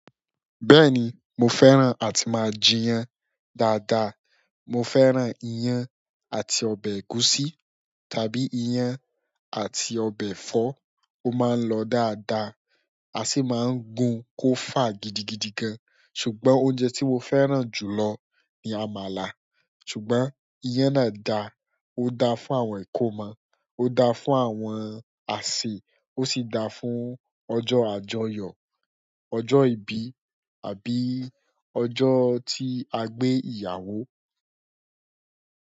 Bẹ́ẹ̀ni, mo fẹ́ràn àti máa jíyán dáadáa. Mo fẹ́ràn iyán àti ọbẹ̀ ẹ̀gúsí tàbí iyán àti ọbẹ̀ ẹ̀fọ́. Ó máa ń lọ dáadáa. A sì máa ń gun kó fà gidigidi gan. Ṣùgbọ́n oúnjẹ tí mo fẹ́ràn jù lọ ni àmàlà. Ṣùgbọ́n iyán náà da, ó da fún àwọn ìkómọ, ó da fún àwọn àsè, ó sì da fún ọjọ́ àjọyọ̀, ọjọ́ ìbí àbí ọjọ́ tí a gbé ìyàwó.